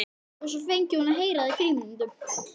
Og svo fengi hún að heyra það í frímínútunum.